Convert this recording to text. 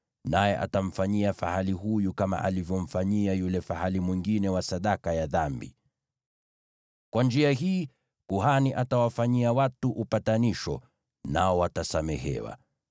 naye atamfanyia fahali huyu kama alivyomfanyia yule fahali mwingine wa sadaka ya dhambi. Kwa njia hii kuhani atawafanyia watu upatanisho, nao watasamehewa.